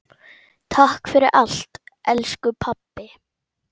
Takk fyrir allt, elsku pabbi.